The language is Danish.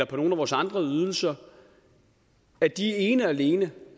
på nogle af vores andre ydelser ene og alene